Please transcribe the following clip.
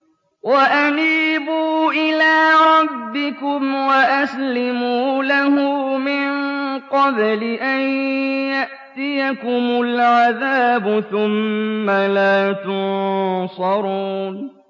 وَأَنِيبُوا إِلَىٰ رَبِّكُمْ وَأَسْلِمُوا لَهُ مِن قَبْلِ أَن يَأْتِيَكُمُ الْعَذَابُ ثُمَّ لَا تُنصَرُونَ